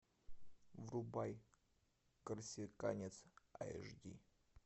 врубай корсиканец аш ди